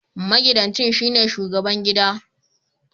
Magidanci shine shubagaban gida